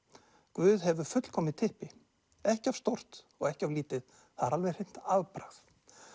guð hefur fullkomið typpi ekki of stórt og ekki of lítið það er alveg hreint afbragð